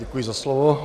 Děkuji za slovo.